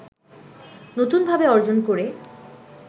নতুনভাবে অর্জন করে